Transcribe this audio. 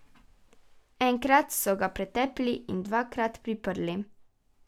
Enkrat so ga pretepli in dvakrat priprli.